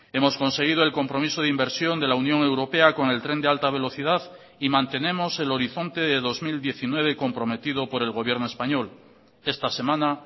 hemos conseguido el compromiso de inversión de la unión europea con el tren de alta velocidad y mantenemos el horizonte de dos mil diecinueve comprometido por el gobierno español esta semana